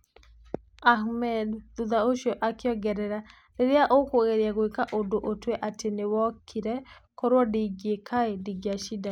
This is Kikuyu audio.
Ahmed thutha ũcio akĩongerera; rĩrĩa ũkũgeria gwĩka ũndũ, ũtue atĩ nĩwokĩe; korũo ndĩngĩka ndĩngĩracindanire